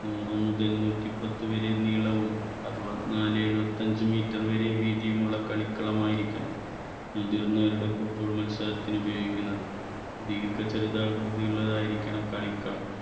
നൂറ് മുതൽ നൂറ്റി പത്ത് വരെ നീളവും അറുപത്നാലേ എഴുപത്തഞ്ച് meter വരെ വീതിയുമുള്ള കളിക്കളമായിരിക്കണം. മുതിർന്നവരുടെ football മത്സരത്തിന് ഉപയോഗിക്കുന്നത്. ദീർഘ ചതുരാകൃതിയിലുള്ളതായിരിക്കണം കളിക്കളം.